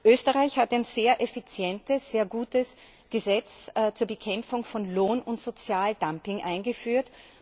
Österreich hat ein sehr effizientes, sehr gutes Gesetz zur Bekämpfung von Lohn und Sozialdumping eingeführt.